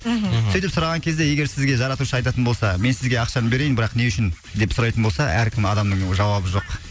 мхм сөйтіп сұраған кезде егер сізге жаратушы айтатын болса мен сізге ақшаны берейін бірақ не үшін деп сұрайтын болса әркім адамның жауабы жоқ